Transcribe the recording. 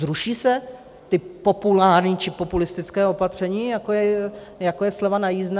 Zruší se ta populární či populistická opatření, jako je sleva na jízdné?